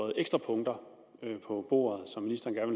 der ekstra punkter på bordet som ministeren